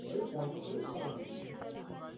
ঐ পনেরো কুঁড়ি সময় নিয়েছিল